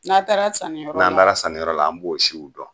N'a taara saniyɔrɔ n'an taara saniyɔrɔ la an b'o siw dɔn